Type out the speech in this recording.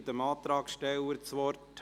Ich gebe dem Antragsteller das Wort.